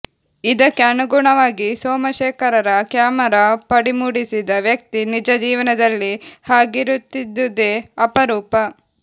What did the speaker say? ಇದಕ್ಕೆ ಅನುಗುಣವಾಗಿ ಸೋಮಶೇಖರರ ಕ್ಯಾಮೆರಾ ಪಡಿಮೂಡಿಸಿದ ವ್ಯಕ್ತಿ ನಿಜಜೀವನದಲ್ಲಿ ಹಾಗಿರುತ್ತಿದ್ದುದೇ ಅಪರೂಪ